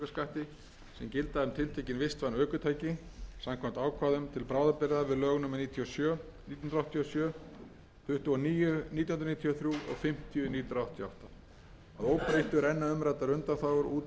tiltekin vistvæn ökutæki samkvæmt ákvæðum til bráðabirgða við lög númer níutíu og sjö nítján hundruð áttatíu og sjö tuttugu og níu nítján hundruð níutíu og þrjú og fimmtíu nítján hundruð áttatíu og átta að óbreyttu renna umræddar undanþágur út í lok árs tvö þúsund